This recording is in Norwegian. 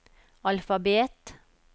alfabet